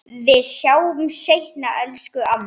Við sjáumst seinna, elsku amma.